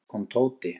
Loks kom Tóti.